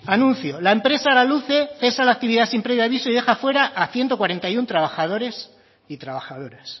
anuncio la empresa araluce cesa la actividad sin previo aviso y deja fuera a ciento cuarenta y uno trabajadores y trabajadoras